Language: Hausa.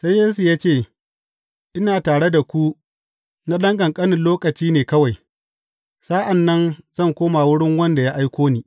Sai Yesu ya ce, Ina tare da ku na ɗan ƙanƙanin lokaci ne kawai, sa’an nan zan koma wurin wanda ya aiko ni.